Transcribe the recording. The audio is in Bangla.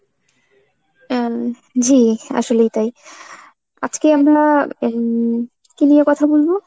এম জি আসলেই তাই। আজকে আমরা উম কী নিয়ে কথা বলবো?